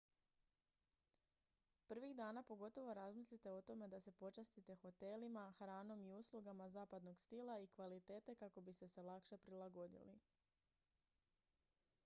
prvih dana pogotovo razmislite o tome da se počastite hotelima hranom i uslugama zapadnog stila i kvalitete kako biste se lakše prilagodili